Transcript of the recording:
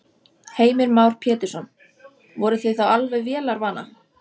Heimir Már Pétursson: Voruð þið þá alveg vélarvana?